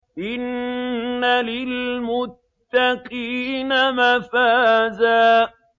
إِنَّ لِلْمُتَّقِينَ مَفَازًا